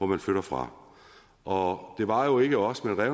man flytter fra og det var jo ikke os men